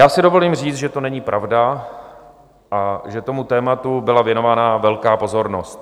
Já si dovolím říct, že to není pravda a že tomu tématu byla věnována velká pozornost.